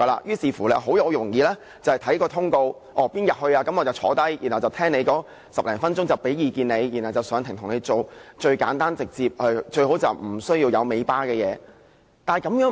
於是，很容易便會看通告，哪天要當值便出席與申請人會面10多分鐘，提供意見，然後上庭為他辯護，最簡單直接，最好不需要有"尾巴"的案件。